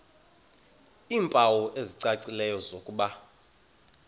iimpawu ezicacileyo zokuba